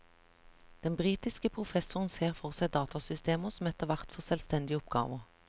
Den britiske professoren ser for seg datasystemer som etterhvert får selvstendige oppgaver.